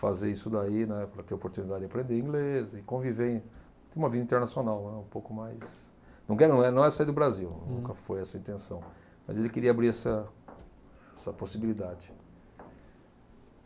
fazer isso daí, na época para ter a oportunidade de aprender inglês e conviver, ter uma vida internacional, né, um pouco mais Não é sair do Brasil, nunca foi essa a intenção, mas ele queria abrir essa essa possibilidade.